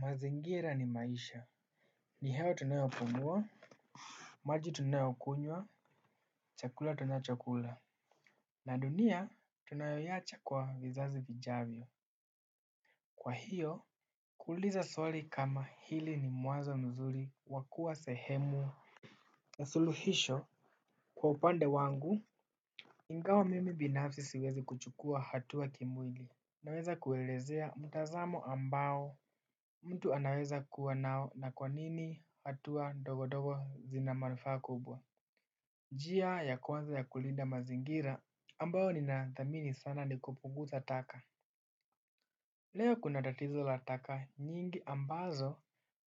Mazingira ni maisha. Ni hewa tunayopumuwa. Maji tunayokunywa. Chakula tunachokula na dunia tunayoyacha kwa vizazi vijavyo kwa hiyo kuliza swali kama hili ni muazo mzuri wakua sehemu. Na suluhisho. Kwa upande wangu ingawa mimi binafsi siwezi kuchukua hatuwa kimwili. Naweza kuelezea mtazamo ambao mtu anaweza kuwa nao na kwa nini hatua ndogondogo zina manfa kubwa. Jia ya kwanza ya kulinda mazingira ambayo nina thamini sana nikupunguza taka. Leo kuna datizo la taka nyingi ambazo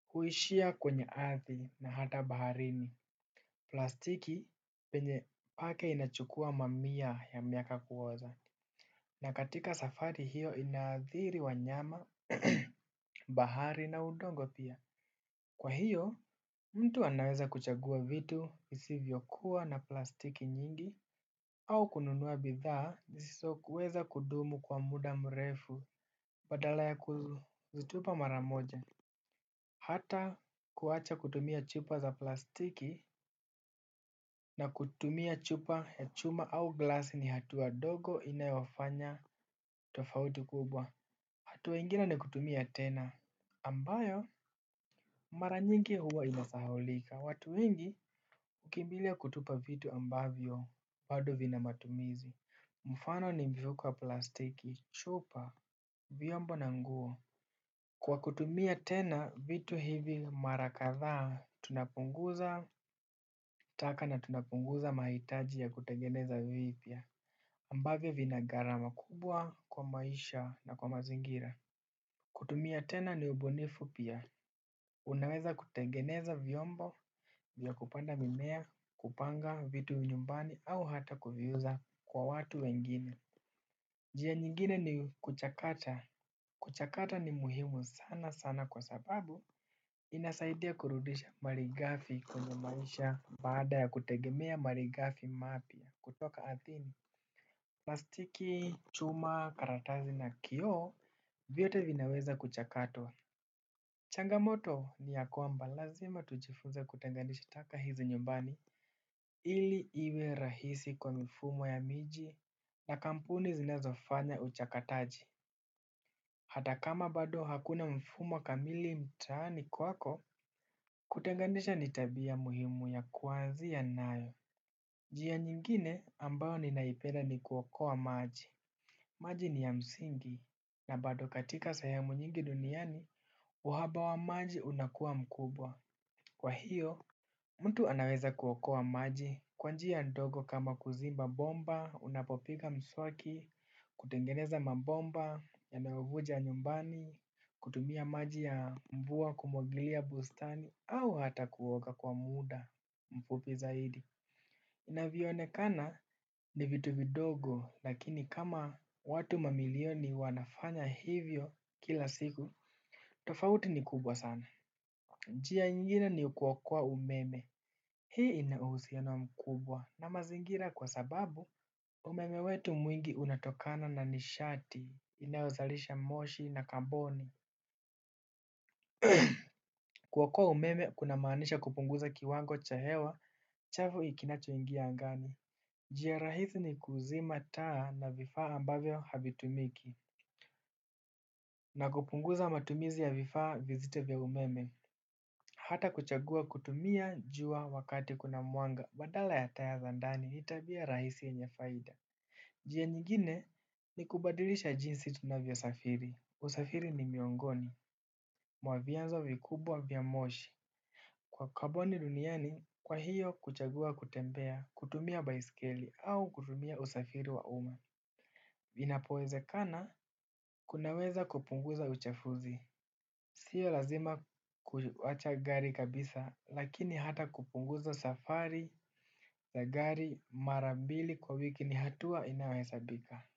huishia kwenye athi na hata baharini. Plastiki penye pake inachukua mamia ya miaka kuoza. Na katika safari hiyo inadhiri wanyama bahari na udongo pia. Kwa hiyo, mtu anaweza kuchagua vitu isivyo kuwa na plastiki nyingi. Au kununuwa bidhaa zisiso kuweza kudumu kwa muda mrefu badala ya kuzitupa mara moja. Hata kuacha kutumia chupa za plastiki na kutumia chupa ya chuma au glass ni hatuwa dogo inayofanya tofauti kubwa. Hatuwa ingine ni kutumia tena ambayo, mara nyingi huwa inasahulika. Watu wengi, uki mbilia kutupa vitu ambavyo, bado vina matumizi. Mufano ni mbivu kwa plastiki, chupa, vyombo na nguo. Kwa kutumia tena vitu hivi marakatha, tunapunguza taka na tunapunguza mahitaji ya kutegeneza vipia ambavyo vina garama kubwa kwa maisha na kwa mazingira. Kutumia tena ni ubunifu pia unaweza kutengeneza vyombo vya kupanda mimea kupanga vitu nyumbani hata kuviuza kwa watu wengine. Jia nyingine ni kuchakata. Kuchakata ni muhimu sana sana kwa sababu inasaidia kurudisha marigafi kwenye maisha. Bada ya kutegemea marigafi mapia kutoka Athene. Plastiki chuma karatazi na kioo vyote vinaweza kuchakata. Changamoto ni ya kuamba lazima tujifunze kutengandisha taka hizi nyumbani. Ili iwe rahisi kwa mfumo ya miji na kampuni zinezo fanya uchakataji. Hata kama bado hakuna mfumo kamili mtani kwako. Kutengandisha nitabia muhimu ya kuanzi ya nayo njia nyingine ambayo ninaipenda ni kuokoa maji. Maji ni ya msingi na bado katika sehemu nyingi duniani. Wahaba wa maji unakua mkubwa. Kwa hiyo, mtu anaweza kuokoa maji kwa njia ndogo kama kuzimba bomba, unapopiga mswaki, kutengeneza mabomba, yanayovuja nyumbani, kutumia maji ya mvuwa kumwagilia bustani au hata kuoga kwa muda mfupi zaidi. Inavionekana ni vitu vidogo lakini kama watu mamilioni wanafanya hivyo kila siku, tofauti ni kubwa sana. Njia ingine ni kuokoa umeme, hii inauhusiano mkubwa na mazingira kwa sababu umeme wetu mwingi unatokana na nishati, inayozalisha moshi na kamboni. Kuokua umeme kuna maanisha kupunguza kiwango cha hewa, chafu ikinacho ingia angani. Njia rahisi ni kuzima taa na vifaa ambavyo havitumiki. Na kupunguza matumizi ya vifaa vizito vya umeme. Hata kuchagua kutumia jua wakati kuna mwanga badala ya taa zandani hitabia rahisi yenyefaida jia nyingine ni kubadilisha jinsi tunavyosafiri usafiri ni miongoni mwa vyanzo vikubwa vya moshi kwa kaboni duniani kwa hio kuchagua kutembea kutumia baiskeli au kutumia usafiri wa umma. Vinapoweze kana kunaweza kupunguza uchafuzi. Sio lazima kuwacha gari kabisa lakini hata kupunguza safari la gari mara bili kwa wiki ni hatua inayohesabika.